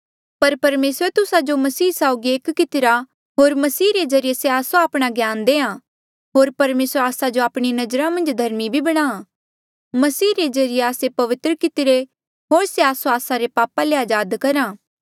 पर परमेसरे तुस्सा जो मसीह यीसू साउगी एक कितिरा होर मसीह रे ज्रीए से आस्सो आपणा ज्ञान देआ होर परमेसर आस्सा जो आपणी नजरा मन्झ धर्मी भी बणा मसीह रे ज्रीए आस्से पवित्र कितिरे होर से आस्सो आस्सा रे पापा ले अजाद करहा